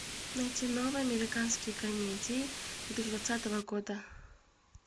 найти новые американские комедии две тысячи двадцатого года